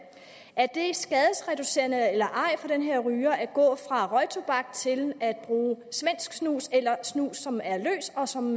er det så skadesreducerende eller ej for den her ryger at gå fra røgtobak til at bruge svensk snus eller snus som er løs og som